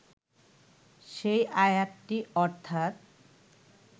সেই আয়াতটি অর্থাৎ